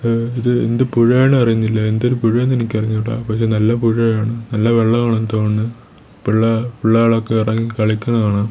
ഏ ഇത് എന്ത് പുഴയാണ് അറിയുന്നില്ല എന്തൊരു പുഴയാണെന്ന് എനിക്കറിഞ്ഞൂട പക്ഷേ നല്ല പുഴയാണ് നല്ല വെള്ളവാണെന്ന് തോന്നണു പിള്ള പിള്ളേകളൊക്കെ ഇറങ്ങി കളിക്കണെ കാണാം.